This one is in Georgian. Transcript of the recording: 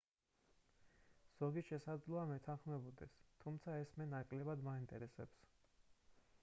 ზოგი შესაძლოა მეთანხმებოდეს თუმცა ეს მე ნაკლებად მაინტერესებს